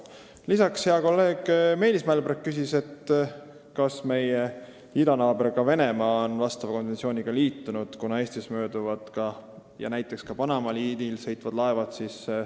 Lisaks küsis hea kolleeg Meelis Mälberg, kas meie idanaaber Venemaa on vastava konventsiooniga liitunud, kuna Eestist mööduvad näiteks ka Panama liinil sõitvad laevad.